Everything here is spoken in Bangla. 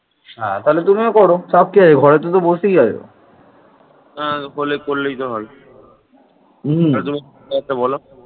অশ্মক হচ্ছে মহারাষ্ট্রের পূর্ব অংশে একটি প্রাচীন রাজ্যের নাম